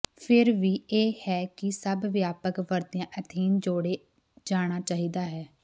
ਫਿਰ ਵੀ ਇਹ ਹੈ ਕਿ ਸਭ ਵਿਆਪਕ ਵਰਤਿਆ ਐਥੇਨ ਜੋੜੇ ਜਾਣਾ ਚਾਹੀਦਾ ਹੈ